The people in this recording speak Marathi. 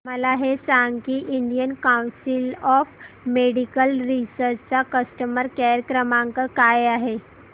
मला हे सांग की Indian council of medical research चा कस्टमर केअर क्रमांक काय आहे